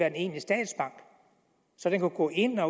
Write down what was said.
en egentlig statsbank så den kunne gå ind og